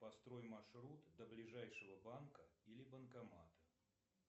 построй маршрут до ближайшего банка или банкомата